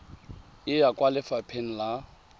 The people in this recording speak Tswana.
e ya kwa lefapha la